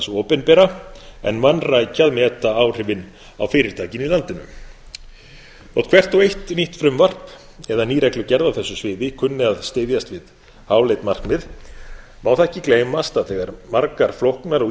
opinbera en vanrækja að meta áhrifin á fyrirtækin í landinu þótt hvert og eitt nýtt frumvarp eða ný reglugerð á þessu sviði kunni að styðjast við háleit markmið má það ekki gleymast að þegar margar flóknar og